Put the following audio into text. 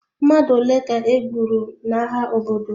Mmadụ ole ka e gburu n'agha obodo?